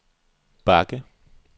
bakke